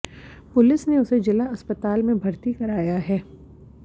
police ने उसे जिला अस्पताल में भर्ती कराया है